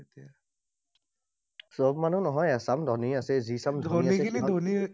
সব মানু্হ নহয়, এচাম ধনী আছে। যি চাম